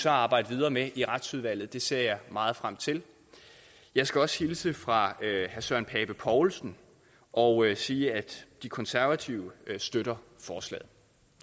arbejde videre med i retsudvalget det ser jeg meget frem til jeg skal også hilse fra herre søren pape poulsen og sige at de konservative støtter forslaget